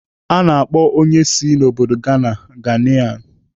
A na-akpọ onye si n'obodo Ghana "Ghanaian."